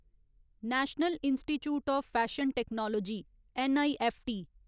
national institute of fashion technology N I F T